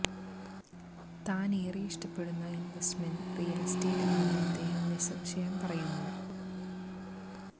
താന് ഏറെ ഇഷ്ടപ്പെടുന്ന ഇന്വെസ്റ്റ്മെന്റ് റിയല് എസ്റ്റേറ്റ് ആണെന്ന് അദ്ദേഹം നിസ്സംശയം പറയുന്നു